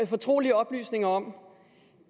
fortrolige oplysninger om